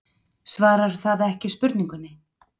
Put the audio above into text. Svarar það ekki spurningunni?